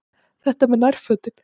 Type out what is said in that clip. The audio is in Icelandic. Þetta með nærfötin.